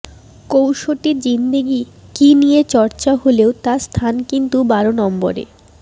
কসৌটি জিন্দেগি কি নিয়ে চর্চা হলেও তার স্থান কিন্তু বারো নম্বরে